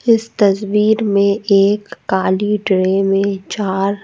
इस तस्वीर में एक काली ट्रे में चार--